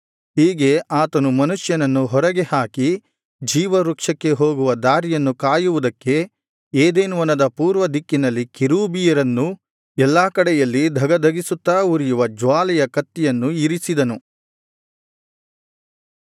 ಹೀಗೆ ಆತನು ಮನುಷ್ಯನನ್ನು ಹೊರಗೆ ಹಾಕಿ ಜೀವವೃಕ್ಷಕ್ಕೆ ಹೋಗುವ ದಾರಿಯನ್ನು ಕಾಯುವುದಕ್ಕೆ ಏದೆನ್ ವನದ ಪೂರ್ವ ದಿಕ್ಕಿನಲ್ಲಿ ಕೆರೂಬಿಯರನ್ನೂ ಎಲ್ಲಾ ಕಡೆಯಲ್ಲಿ ಧಗಧಗಿಸುತ್ತಾ ಉರಿಯುವ ಜ್ವಾಲೆಯ ಕತ್ತಿಯನ್ನು ಇರಿಸಿದನು